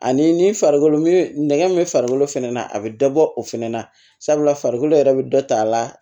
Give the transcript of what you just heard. Ani ni farikolo nɛgɛ min farikolo fɛnɛ na a bɛ dɔ bɔ o fɛnɛ na sabula farikolo yɛrɛ bɛ dɔ ta a la